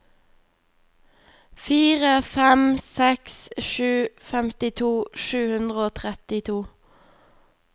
fire fem seks sju femtito sju hundre og trettito